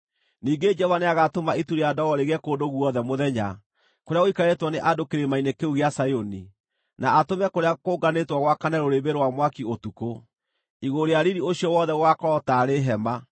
Ningĩ Jehova nĩagatũma itu rĩa ndogo rĩgĩe kũndũ guothe mũthenya kũrĩa gũikarĩtwo nĩ andũ kĩrĩma-inĩ kĩu gĩa Zayuni, na atũme kũrĩa kũnganĩtwo gwakane rũrĩrĩmbĩ rwa mwaki ũtukũ; igũrũ rĩa riiri ũcio wothe gũgaakorwo taarĩ hema.